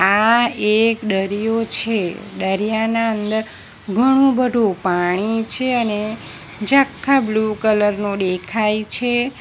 આ એક ડરીયો છે ડરીયાના અંદર ઘણું બધુ પાણી છે અને ઝાંખા બ્લુ કલર નું ડેખાય છે.